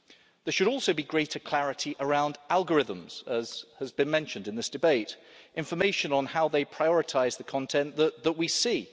There should also be greater clarity around algorithms as has been mentioned in this debate and information on how they prioritise the content that that we see.